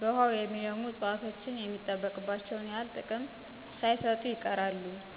በውሃው የሚለሙ እፅዋቶች የሚጠበቅባቸውን ያክል ጥቅም ሳይሰጡ ይቀራሉ።